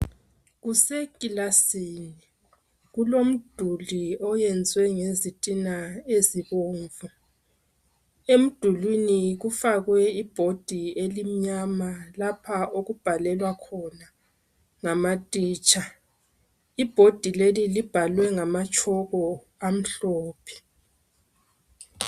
Kusekilasini, kulomduli oyenzwe ngezithina ezibombu. Emdulwini kufakwe ibhodi elimnyama lapha okubhalela khona ngamathitsha. Ibhodi leli libhalwe ngamatshoko amhlophe.